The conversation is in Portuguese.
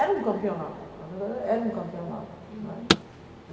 Era um campeonato, na verdade, era um campeonato, né. Uhum